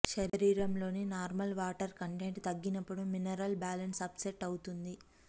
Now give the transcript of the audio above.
శరీరంలోని normal water content తగ్గినప్పుడు minerals balance upset అవుతుంది